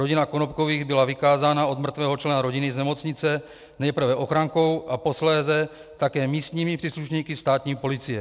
Rodina Konopkových byla vykázána od mrtvého člena rodiny z nemocnice nejprve ochrankou a posléze také místními příslušníky státní policie.